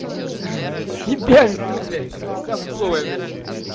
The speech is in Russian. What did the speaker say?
тебя жду блять совковая блядь